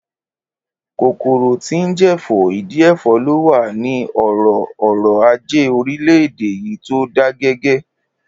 Kòkòrò tí ń jẹ̀fọ́, ìdí ẹ̀fọ́ ló wà ní ọ̀rọ̀ ọrọ̀-ajé orílẹ̀-èdè yìí tó dágẹgẹ